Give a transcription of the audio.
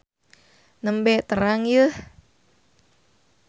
Nembe terang yeuh.